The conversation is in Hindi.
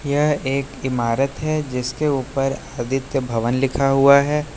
यह एक इमारत है जिसके ऊपर आदित्य भवन लिखा हुआ है।